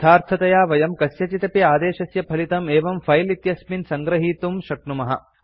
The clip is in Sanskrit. यथार्थतया वयं कस्यचिदपि आदेशस्य फलितं एवं फिले इत्यस्मिन् सङ्गृहीतुं शक्नुमः